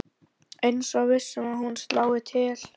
Eins og viss um að hún slái til.